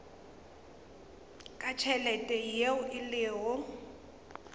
ka tšhelete yeo e lego